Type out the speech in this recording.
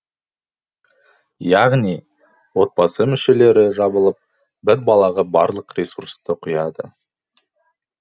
яғни отбасы мүшелері жабылып бір балаға барлық ресурсты құяды